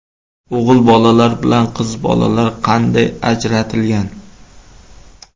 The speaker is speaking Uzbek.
O‘g‘il bolalar bilan qiz bolalar qanday ajratilgan?